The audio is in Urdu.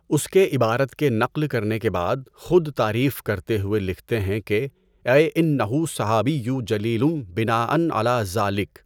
اس کے عبارت کے نقل کرنے کے بعد خود تعریف کرتے ہوئے لکھتے ہیں کہ "اَیْ اِنَّہُ صَحَابِیٌّ جَلِیْلٌ بِنَاءً عَلیٰ ذَالِک"۔